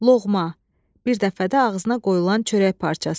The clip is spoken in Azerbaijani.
Loğma, bir dəfədə ağzına qoyulan çörək parçası.